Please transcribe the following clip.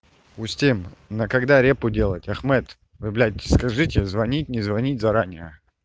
устим на когда репу делать ахмед вы блять скажите звонить не звонить заранее